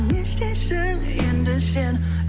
не істейсің енді сен